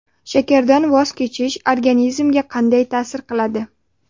Shakardan voz kechish organizmga qanday ta’sir qiladi?.